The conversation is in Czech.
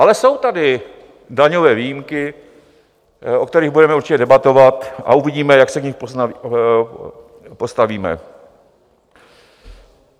Ale jsou tady daňové výjimky, o kterých budeme určitě debatovat, a uvidíme, jak se k nim postavíme.